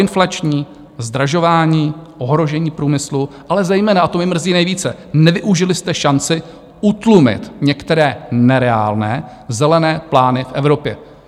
Proinflační, zdražování, ohrožení průmyslu, ale zejména, a to mě mrzí nejvíce, nevyužili jste šanci utlumit některé nereálné zelené plány v Evropě.